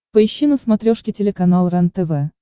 поищи на смотрешке телеканал рентв